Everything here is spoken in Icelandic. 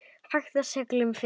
Hagaði seglum eftir vindi.